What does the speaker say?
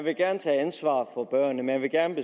vil gerne tage ansvar for børnene man vil gerne